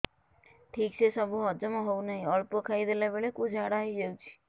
ଠିକସେ ସବୁ ହଜମ ହଉନାହିଁ ଅଳ୍ପ ଖାଇ ଦେଲା ବେଳ କୁ ଝାଡା ହେଇଯାଉଛି